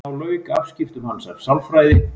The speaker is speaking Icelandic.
Þá lauk afskiptum hans af sálfræði.